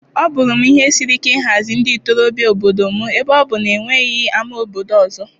Ọ bụụrụ m ihe siri ike ịhazi ndị ntorobịa obodo m ebe ọ bụ na e nweghị ámá obodo ọzọ.